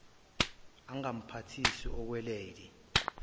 angamphathisi okwe lady